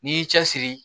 N'i y'i cɛsiri